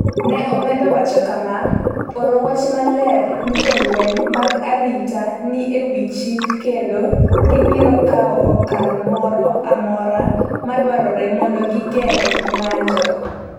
ne omedo wacho kama: “Ooro wach maler ni jolweny mag arita ni e wi chik kendo gibiro kawo okang’ moro amora ma dwarore mondo gigeng’ ng’anjo.”